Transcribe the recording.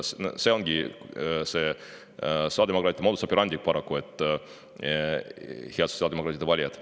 See ongi see sotsiaaldemokraatide modus operandi paraku, head sotsiaaldemokraatide valijad.